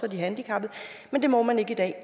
handicappede men det må man ikke i dag